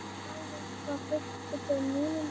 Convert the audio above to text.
Alveg frá fyrstu mínútu.